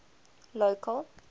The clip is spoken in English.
local